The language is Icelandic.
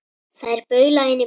Þær baula inn í bæinn.